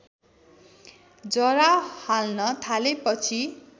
जरा हाल्न थालेपछि